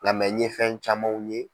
Nka ye fɛn camanw ye.